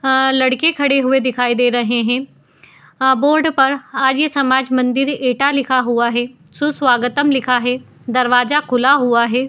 अ लड़के खड़े हुए दिखाई दे रहे हैं | अ बोर्ड पर आर्य समाज मंदिर एटा लिखा हुआ है। सु स्वागतम लिखा है। दरवाजा खुला हुआ है।